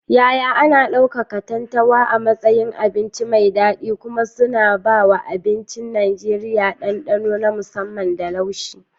Yaya ana ɗauka katantanwa a matsayin abinci mai daɗi kuma suna ba wa abincin Najeriya dandano na musamman da laushi.